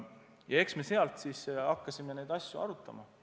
Ja eks me siis sealtpeale hakkasime neid asju arutama.